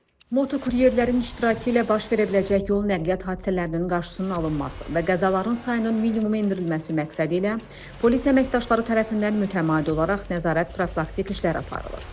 Moto kuryerlərin iştirakı ilə baş verə biləcək yol nəqliyyat hadisələrinin qarşısının alınması və qəzaların sayının minimuma endirilməsi məqsədilə polis əməkdaşları tərəfindən mütəmadi olaraq nəzarət profilaktik işlər aparılır.